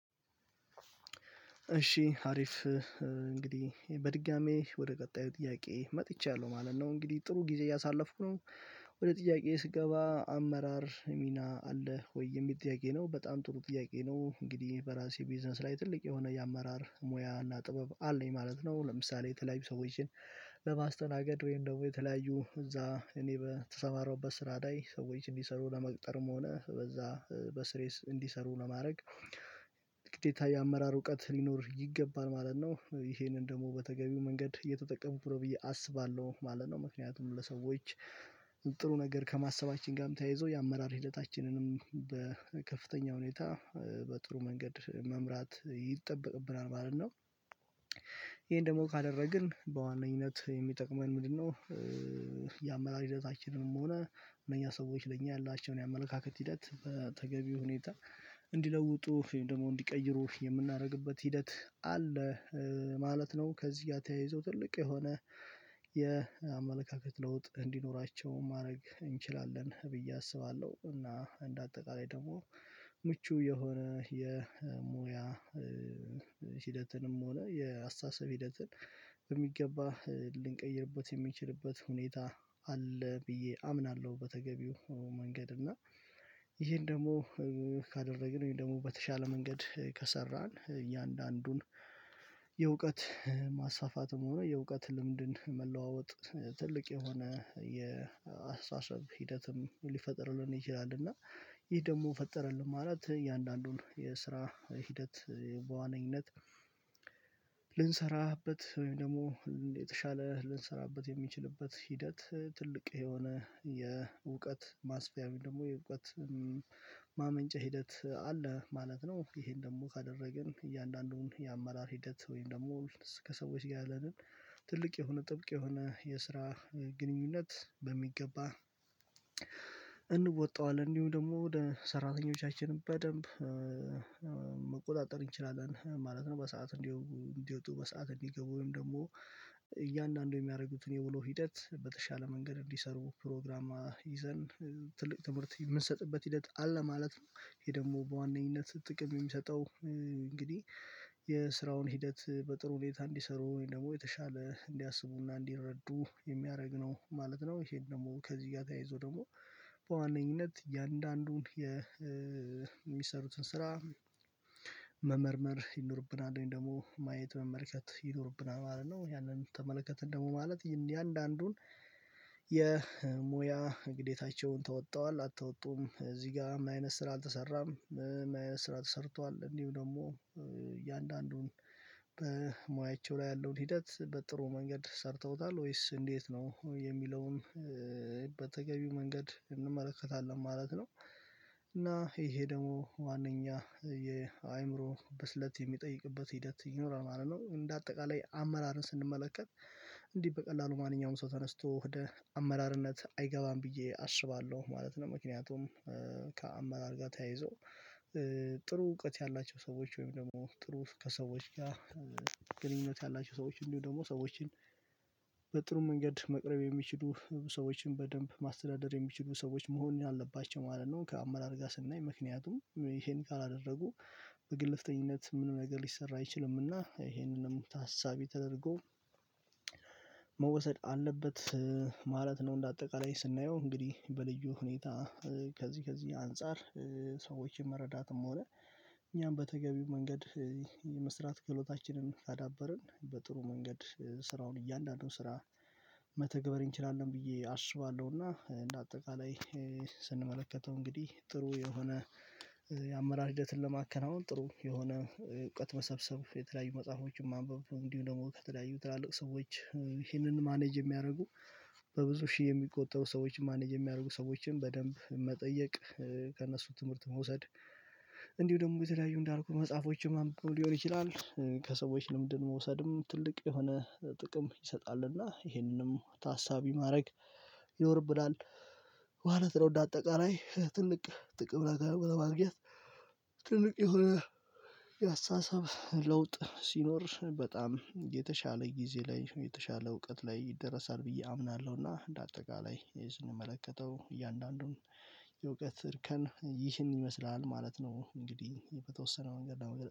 እሺ አሪፍ እንግዲህ በድጋሚ ወደ ቀጣዩ ጥያቄ መጥቻለሁ ማለት ነው እንግዲህ ጥሩ ጊዜ እያሳለፍኩ ነው። ወደ ጥያቄ ስገባ አመራር ሚና አለህ ወይ የሚልጥያቄ ነው? በጣም ጥሩ ጥያቄ ነው። እንግዲህ በራሴ ቢዝነስ ላይ ትልቅ የሆነ የአመራር ሙያ እና ጥበብ አለኝ ማለት ነው። ለምሳሌ የተለያዩ ሰዎችን በማስተናገድ ወይም ደግሞ የተለያዩ እዛ እኔ በተሰማረውበት ስራ ላይ ሰዎች እንዲሰሩ ለመቅጠርም ሆነ በዛ በስሬስ እንዲሰሩ ለማድረግ። ግዴታ የአመራር እውቀት ሊኖር ይገባን ማለት ነው ይሄንን ደግሞ በተገቢው መንገድ እየተጠቀምኩ ብሎ ብዬ አስባለሁ ማለት ነው። ምክንያቱም ለሰዎች ጥሩ ነገር ከማሰባችን ጋርም ተያይዞ የአመራር ሂደታችንንም በከፍተኛ ሁኔታ በጥሩ መንገድ መምራት ይጠበቅብናል ማለት ነው። ይሄን ደግሞ ካደረግን በዋነኝነት የሚጠቅመን ምንድነው? ያመራር ሂደታችንንም ሆነ እነኛ ሰዎች ለእኛ ያላቸውን የአመለካከት ሂደት በተገቢው ሁኔታ እንዲለውጡ ደግሞ እንዲቀይሩ የምናደርግበት ሂደት አለ ማለት ነው። ከዚህ ጋር ተያይዞ ትልቅ የሆነ የአመለካከት ለውጥ እንዲኖራቸው ማድረግ እንችላለን ብዬ አስባለሁ። እና እንደ አጠቃላይ ደግሞ የሆነ የሞያ ሂደትንም ሆነ የአስተሳሰብ ሂደትን በሚገባ ልንቀይርበት የምንችልበት ሁኔታ አለ ብዬ አምናለሁ። በተገቢው መንገድ እና ይሄን ደግሞ ካደረግን ወይም ደግሞ በተሻለ መንገድ ከሰራን እያንዳንዱን የእውቀት ማሳፋፋትም ሆነ የእውቀት ልምድን መለዋወጥ ትልቅ የሆነ የአስተሳሰብ ሂደትም ሊፈጥርልን ይችላል። እና ይሄ ደግሞ ፈጠረልን ማለት እያንዳንዱን የስራ ሂደት በዋነኝነት ልንሰራበት ወይም ደግሞ የተሻለ ልንሰራበት የሚችልበት ሂደት ትልቅ የሆነ የእውቀት ማስፊያም ደግሞ የእውቀት ማመንጨት ሂደት አለ ማለት ነው። ይሄን ደግሞ ካደረግን እያንዳንዱን የአመራር ሂደት ወይም ደግሞ ከሰዎች ጋር ያለንን ትልቅ የሆነ ጥብቅ የሆነ የስራ ግንኙነት በሚገባ እንወጣዋለን እንዲሁ ደግሞ ሰራተኞቻችንን በደንብ መቆጣጠር እንችላለን ማለት ነው። በሰአት እንዲወጡ በሰአት እንዲገቡ ወይም ደግሞ እያንዳንዱ የሚያደርጉትን የውሎ ሂደት በተሻለ መንገድ እንዲሰሩ ፕሮግራም ይዘን ትልቅ ትምህርት የምንሰጥበት ሂደት አለ ማለት ነው። ይሄ ደግሞ በዋነኝነት ጥቅም የሚሰጠው እንግዲህ የስራውን ሂደት በጥሩ ሁኔታ እንዲሰሩ ወይም ደግሞ የተሻለ እንዲያስቡና እንዲረዱ የሚያደርግ ነው ማለት ነው። ይሄን ደግሞ ከዚህ ጋር ተያይዞ ደግሞ በዋነኝነት እያንዳንዱን የሚሰሩትን ስራ መመርመር ይኖርብናል እኔ ደግሞ ማየት መመልከት ይኖርብናል ማለት ነው። ያንን ተመለከትን ደግሞ ማለት የአንዳንዱን የሙያ ግዴታቸውን ተወጥዋል አልተወጡም እዚህ ጋር ምን አይነት ስራ አልተሰራም? ምን አይነት ስራ ተሰርቷል እንዲሁ ደግሞ እያንዳንዱን በሙያቸው ላይ ያለውን ሂደት በጥሩ መንገድ ሰርተውታል ወይስ እንዴት ነው የሚለውን በተገቢው መንገድ እንመለከታለን ማለት ነው። እና ይሄ ደግሞ ዋናኛ የአእምሮ በስለት የሚጠይቅበት ሂደት ይኖራል ማለት ነው። እንደ አጠቃላይ አመራርን ስንመለከት እንዲህ በቀላሉ ማንኛውም ሰው ተነስቶ ወደ አመራርነት አይገባም ብዬ አስባለሁ ማለት ነው። ምክንያቱም ከአመራር ጋር ተያይዞ ጥሩ እውቀት ያላቸው ሰዎች ወይም ደግሞ ጥሩ ከሰዎች ጋር ግንኙነት ያላቸው ሰዎች እንዲሁ ደግሞ ሰዎችን በጥሩ መንገድ መቅረብ ሰዎችን በደንብ ማስተዳደር የሚችሉ ሰዎች መሆን አለባቸው ማለት ነው። ከአመራር ጋር ስናይ ምክንያቱም ይሄን ካላደረጉ በግልፍተኝነት ምንም ነገር ሊሰራ አይችልምና ይሄንንም ታሳቢ ተደርጎ መወሰድ አለበት ማለት ነው። እንደ አጠቃላይ ስናየው እንግዲህ በልዩ ሁኔታ ከዚህ ከዚህ አንፃር ሰዎችን መረዳትም ሆነ እኛም በተገቢው መንገድ የመስራት ገሎታችንን ካዳበርን በጥሩ መንገድ ስራውን እያንዳንዱን ስራ መተግበር እንችላለን ብዬ አስባለሁና። እንደ አጠቃላይ ስንመለከተው እንግዲህ ጥሩ የሆነ የአመራር ሂደትን ለማከናወን ጥሩ የሆነ እውቀት መሰብሰብ የተለያዩ መጽሐፎችን ማንበብ እንዲሁ ደግሞ ከተለያዩ ትላልቅ ሰዎች ይህንን ማኔጅ የሚያደርጉ። በብዙ ሺህ የሚቆጠሩ ሰዎች ማኔጅ የሚያደርጉ ሰዎችን በደንብ መጠየቅ ከእነሱ ትምህርት መውሰድ። እንዲሁ ደግሞ የተለያዩ እንዳልኩት መጽሐፎችም ማንበብ ሊሆን ይችላል ከሰዎች ልምድን መውሰድም ትልቅ የሆነ ጥቅም ይሰጣልና ይሄንንም ታሳቢ ማድረግ ይወርብላል ማለት ነው። እንደ አጠቃላይ ትልቅ ጥቅም ለማግኘት ትልቅ የሆነ የአስተሳሰብ ለውጥ ሲኖር በጣም የተሻለ ጊዜ ላይ የተሻለ እውቀት ላይ ይደርሳል ብዬ አምናለሁ። እና እንደ አጠቃላይ ይሄን የምመለከተው እያንዳንዱን የእውቀት እርከን ይህን ይመስላል ማለት ነው። እንግዲህ በተወሰነ መንገድ